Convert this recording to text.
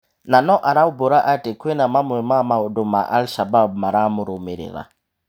Na no araumbura atĩ kwĩna mamwe ma maũndũ ma Al shabab maramũrũmĩrĩra.